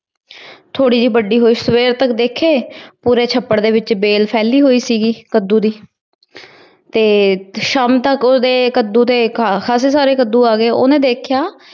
ਥੋੜੀ ਜੀ ਵੱਡੀ ਹੋਈ। ਸਵੇਰ ਤਕ ਦੇਖੇ, ਪੂਰੇ ਛੱਪੜ ਦੇ ਵਿਚ ਵੇਲ ਫੈਲੀ ਹੁਈ ਸੀਗੀ ਕੱਦੂ ਦੀ। ਤੇ ਸ਼ਾਮ ਤੱਕ ਓਹਦੇ ਕੱਦੂ ਦੇ, ਖਾਸੇ ਸਾਰੇ ਕੱਦੂ ਆਗ ਗਏ। ਉਹਨੇ ਦੇਖਿਆ